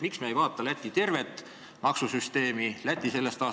Miks me ei vaata tervet Läti maksusüsteemi ja kogu Läti elu?